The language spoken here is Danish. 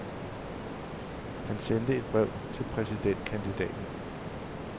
Han sendte et brev til præsidentkandidaten.